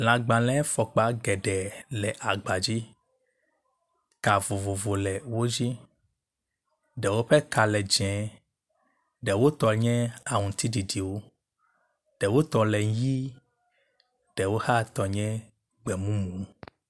Lãgbalẽfɔkpa geɖe le agba dzi. Ka vovovo le wo dzi, ɖewo ƒe ka le dze, ɖewo tɔe nye aŋutiɖiɖiwo, ɖewo tɔ le ʋɛ̃, ɖewo hã tɔ le gbemumu.